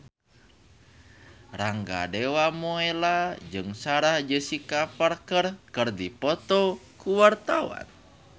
Rangga Dewamoela jeung Sarah Jessica Parker keur dipoto ku wartawan